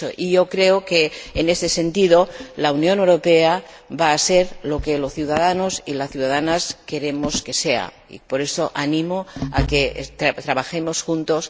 Yo creo que, en este sentido, la Unión Europea va a ser lo que los ciudadanos y las ciudadanas queremos que sea. Por eso, animo a que trabajemos juntos.